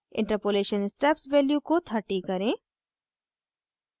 interpolation steps value को 30 करें